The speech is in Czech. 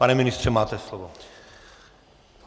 Pane ministře, máte slovo.